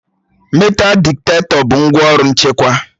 metal ditektọ bụ ngwaọrụ nchekwa